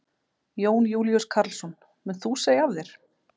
Jón Júlíus Karlsson: Munt þú segja af þér?